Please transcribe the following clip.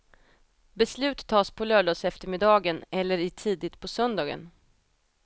Beslut tas på lördagseftermiddagen eller i tidigt på söndagen.